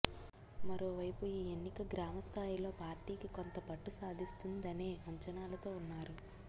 మరోవైపు ఈ ఎన్నిక గ్రామ స్థాయిలో పార్టీకి కోంత పట్టు సాధిస్తుందనే అంచనాలతో ఉన్నారు